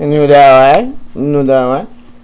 да ну да